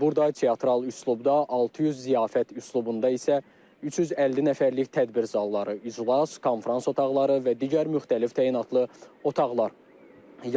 Burda teatral üslubda 600, ziyafət üslubunda isə 350 nəfərlik tədbirlər zalları, iclas, konfrans otaqları və digər müxtəlif təyinatlı otaqlar